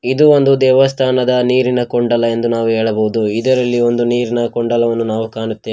ಇದು ಒಂದು ದೇವಸ್ಥಾನದ ನೀರಿನ ಕುಂಡಲ ಎಂದು ನಾವು ಹೇಳಬಹುದು ಇದರಲ್ಲಿ ಒಂದು ನೀರಿನ ಕುಂಡಲವನ್ನು ನಾವು ಕಾಣುತ್ತೇವೆ.